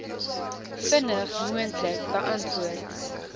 vinnig moontlik beantwoord